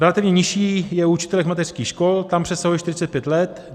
Relativně nižší je u učitelek mateřských škol, tam přesahuje 45 let.